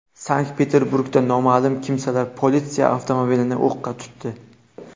Sankt-Peterburgda noma’lum kimsalar politsiya avtomobilini o‘qqa tutdi.